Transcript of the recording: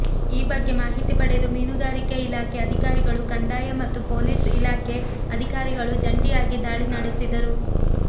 ಈ ಬಗ್ಗೆ ಮಾಹಿತಿ ಪಡೆದು ಮೀನುಗಾರಿಕೆ ಇಲಾಖೆ ಅಧಿಕಾರಿಗಳು ಕಂದಾಯ ಮತ್ತು ಪೊಲೀಸ್ ಇಲಾಖೆ ಅಧಿಕಾರಿಗಳು ಜಂಟಿಯಾಗಿ ದಾಳಿ ನಡೆಸಿದರು